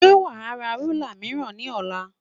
Ṣé wà á ra rúlà mìíràn ní ọ̀la?